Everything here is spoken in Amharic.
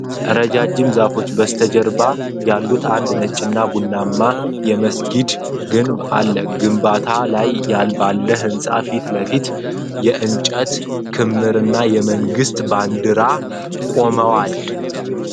ረጃጅም ዛፎች በስተጀርባ ያሉት አንድ ነጭና ቡናማ የመስጊድ ግንብ አለ። በግንባታ ላይ ባለው ህንጻ ፊት ለፊት የእንጨት ክምርና የመንግስት ባንዲራዎች ቆመዋል።